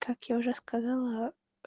как я уже сказала